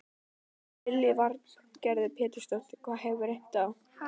Lillý Valgerður Pétursdóttir: Það hefur reynt á?